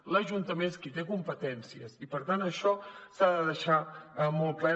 l’ajuntament és qui té competències i per tant això s’ha de deixar molt clar